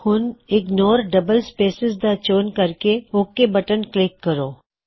ਹੁਣ ignore double spaces ਦਾ ਚੋਣ ਕਰਕੇ ਓਕ ਬਟਨ ਕਲਿੱਕ ਕਰੋ